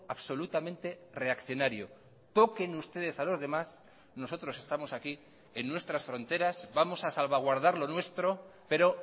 absolutamente reaccionario toquen ustedes a los demás nosotros estamos aquí en nuestras fronteras vamos a salvaguardar lo nuestro pero